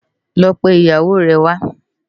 Lò pé iyáwó rè wá